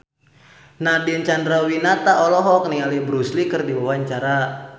Nadine Chandrawinata olohok ningali Bruce Lee keur diwawancara